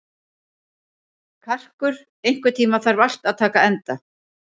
Karkur, einhvern tímann þarf allt að taka enda.